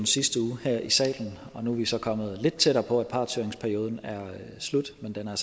sidste uge her i salen nu er vi så kommet lidt tættere på at partshøringsperioden er slut men den er